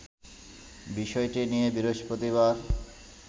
বিষয়টি নিয়ে বৃহস্পতিবার